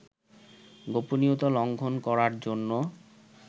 গোপনীয়তা লঙ্ঘন করার জন্য